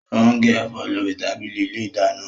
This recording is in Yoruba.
Ó ń gé ẹ̀fọ́ lórí tábìlì ilé ìdáná